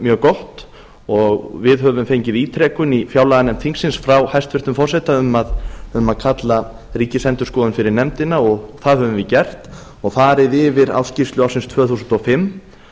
mjög gott og við höfum fengið ítrekun í fjárlaganefnd þingsins frá hæstvirtum forseta um að kalla ríkisendurskoðun fyrir nefndina og það höfum við gert og farið yfir ársskýrslu ársins tvö þúsund og fimm